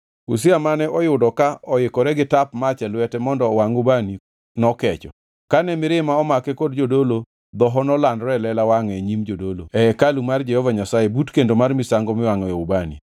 Uzia mane oyudo ka oikore gi tap mach e lwete mondo owangʼ ubani nokecho. Kane mirima omake kod jodolo, dhoho nolandore e lela wangʼe e nyim jodolo e hekalu mar Jehova Nyasaye but kendo mar misango miwangʼoe ubani.